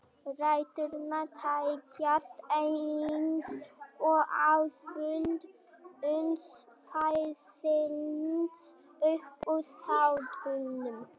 Ræturnar teygjast eins og axlabönd uns þær slitna upp úr startholunum